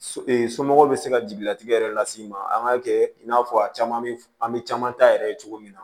So somɔgɔw bɛ se ka jigilatigɛ yɛrɛ las'i ma an k'a kɛ i n'a fɔ a caman bɛ an bɛ caman ta yɛrɛ ye cogo min na